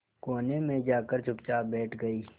कोने में जाकर चुपचाप बैठ गई